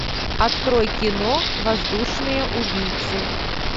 открой кино воздушные убийцы